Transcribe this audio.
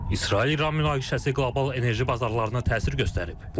İsrail-İran münaqişəsi qlobal enerji bazarlarına təsir göstərib.